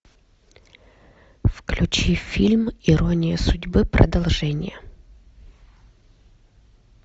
включи фильм ирония судьбы продолжение